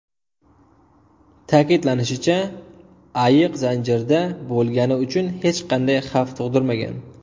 Ta’kidlanishicha, ayiq zanjirda bo‘lgani uchun hech qanday xavf tug‘dirmagan.